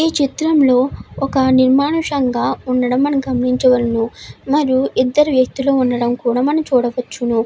ఇక్కడ చాల నిర్మంతగా ఉన్నదీ ఐదారు వేఖ్తులు ఉన్నారు ఇక్కడా.